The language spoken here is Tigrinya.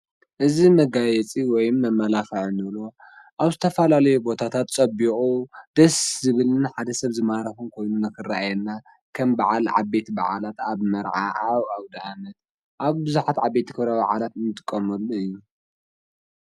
እዚ መጋየፂ ወይም መመላኽዒ እንብሎ ኣብ ዝተፈላለዩ ቦታታት ፀቢቑ ደስ ዝብል እና ሓደ ሰብ ዝማረኸን ኮይኑ ንኽረኣየና ከም በዓል ዓበይቲ ባዓላት ኣብ መርዓ ኣብ ኣውዳኣመት ኣብ ብዙሓት ዓበይቲ ክብረ ባዓላት እንጥቀመሉ እዩ፡፡